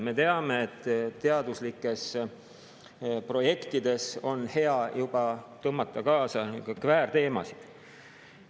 Me teame, teaduslikesse projektidesse on juba hea tõmmata kaasa kvääriteemasid.